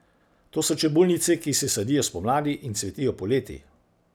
To so čebulnice, ki se sadijo spomladi in cvetijo poleti.